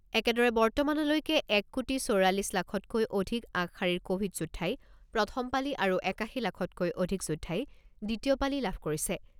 একেদৰে, বৰ্তমানলৈকে এক কোটি চৌৰাল্লিছ লাখতকৈ অধিক আগশাৰীৰ ক'ভিড যোদ্ধাই প্ৰথম পালি আৰু একাশী লাখতকৈ অধিক যোদ্ধাই দ্বিতীয় পালি লাভ কৰিছে।